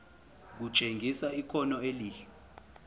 kutshengisa ikhono elihle